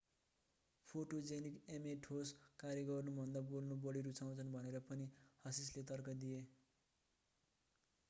photogenic ma ठोस कार्य गर्नुभन्दा बोल्न बढी रुचाउँछन् भनेर पनि hsieh ले तर्क गरे